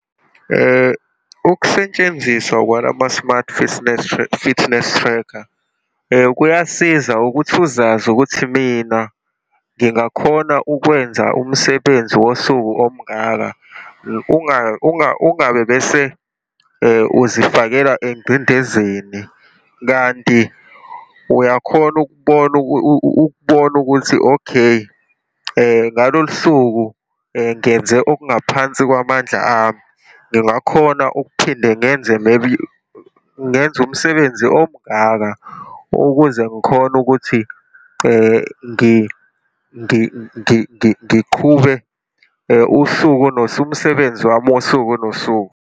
Ukusetshenziswa kwalama-smart fisnes, fitness tracker, kuyasiza ukuthi uzazi ukuthi mina ngingakhona ukwenza umsebenzi wosuku omungaka, ungabe bese uzifakela engcindezenii. Kanti uyakhona ukubona ukubona ukuthi okay, ngalolu suku ngenze okungaphansi kwamandla ami, ngingakhona ukuphinde ngenze, maybe, ngenza umsebenzi omungaka ukuze ngikhone ukuthi ngiqhube usuku nosuku, umsebenzi wami wosuku nosuku.